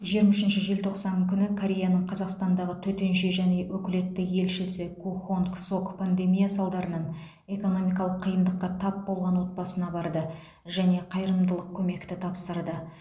жиырма үшінші желтоқсан күні кореяның қазақстандағы төтенше және өкілетті елшісі ку хонг сок пандемия салдарынан экономикалық қиындыққа тап болған отбасына барды және қайырымдылық көмекті тапсырды